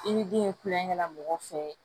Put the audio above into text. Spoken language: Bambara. I ni den ye kulonkɛ la mɔgɔ fɛ